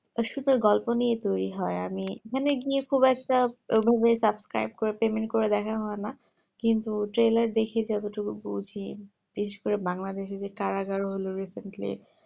আর শুধু গল্প নিয়ে তৈরী হয় আমি এখানে গিয়ে খুব একটা subscribe এ payment করে trailer করে দেখা হয়না কিন্তু দেখি যত টুকু বুঝি বিশেষ করে Bangaldesh এ কারাগার হলো recently